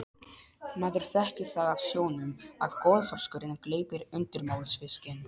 Maður þekkir það af sjónum að golþorskurinn gleypir undirmálsfiskinn.